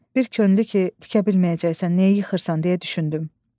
Bir könlü ki tikə bilməyəcəksən, niyə yıxırsan, deyə düşündüm.